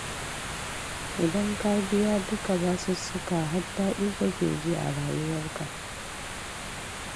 Idan ka biya dukka basussukanka har daɗi kake ji a rayuwarka